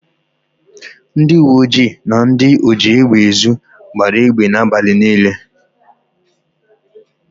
Ndịuweojii na ndị ojiégbèezu gbara égbè n' abalị niile.